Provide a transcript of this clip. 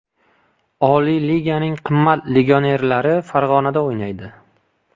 Oliy liganing qimmat legionerlari Farg‘onada o‘ynaydi.